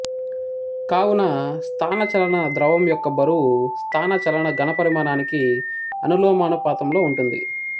కావున స్థానచలన ద్రవం యొక్క బరువు స్థానచలన ఘనపరిమానానికి అనులోమానుపాతంలో ఉంటుంది